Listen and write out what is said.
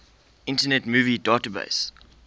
internet movie database